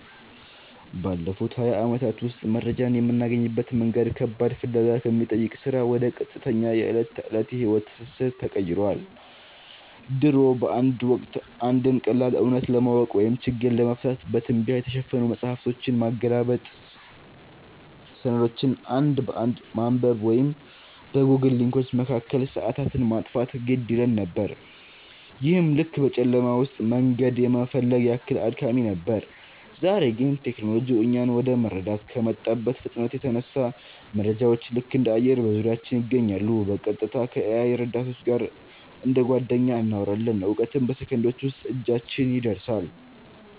ባለፉት ሃያ ዓመታት ውስጥ መረጃን የምናገኝበት መንገድ ከባድ ፍለጋ ከሚጠይቅ ሥራ ወደ ቀጥተኛ የዕለት ተዕለት የሕይወት ትስስር ተቀይሯል። ድሮ በአንድ ወቅት፣ አንድን ቀላል እውነት ለማወቅ ወይም ችግር ለመፍታት በትቢያ የተሸፈኑ መጻሕፍትን ማገላበጥ፣ ሰነዶችን አንድ በአንድ ማንበብ ወይም በጎግል ሊንኮች መካከል ሰዓታትን ማጥፋት ግድ ይለን ነበር፤ ይህም ልክ በጨለማ ውስጥ መንገድ የመፈለግ ያህል አድካሚ ነበር። ዛሬ ግን ቴክኖሎጂው እኛን ወደ መረዳት ከመጣበት ፍጥነት የተነሳ፣ መረጃዎች ልክ እንደ አየር በዙሪያችን ይገኛሉ—በቀጥታ ከ-AI ረዳቶች ጋር እንደ ጓደኛ እናወራለን፣ እውቀትም በሰከንዶች ውስጥ እጃችን ላይ ይደርሳል።